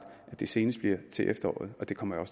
at det senest sker til efteråret og det kommer